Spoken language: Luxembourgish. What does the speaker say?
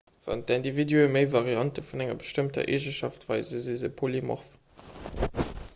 wann d'individue méi variante vun enger bestëmmter eegenschaft weisen si se polymorph